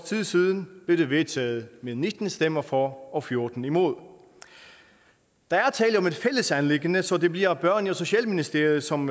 tid siden blev det vedtaget med nitten stemmer for og fjorten imod der er tale om et fælles anliggende så det bliver børne og socialministeriet som